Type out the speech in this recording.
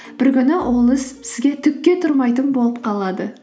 бір күні ол іс сізге түкке тұрмайтын болып қалады